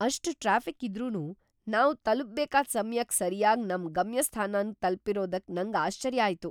ಅಷ್ಟ್ ಟ್ರಾಫಿಕ್ ಇದ್ರೂನು, ನಾವ್ ತಲ್ಪುಬೇಕಾದ್ ಸಮ್ಯಕ್ಕೆ ಸರ್ಯಾಗ್ ನಮ್ ಗಮ್ಯಸ್ಥಾನನ್ ತಲ್ಪಿರೋದಕ್ಕೆ ನಂಗ್ ಆಶ್ಚರ್ಯ ಆಯ್ತು !